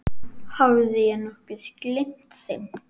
Hafði ég nokkuð gleymt þeim?